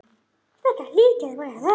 Þetta hlýtur að vera hraun.